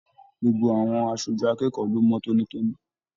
Gbogbo àwọn aṣojú akẹ́kọ̀ọ́ lo mọ tónítóní.